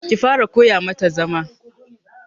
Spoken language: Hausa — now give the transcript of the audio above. Ki fara koya ma ta zama.